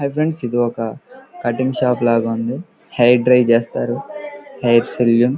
hi friends ఇది ఒక cutting shop లాగ ఉంది హెయిర్ డ్రై చేస్తారు హెయిర్ సలోన్ --